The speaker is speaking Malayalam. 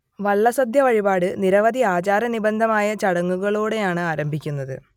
വള്ളസദ്യ വഴിപാട് നിരവധി ആചാര നിബിഡമായ ചടങ്ങുകളോടെയാണ് ആരംഭിക്കുന്നത്